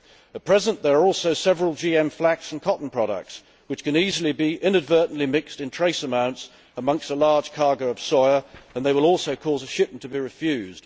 At present there are also several GM flax and cotton products which can easily be inadvertently mixed in trace amounts amongst a large cargo of soya, and they will also cause a shipment to be refused.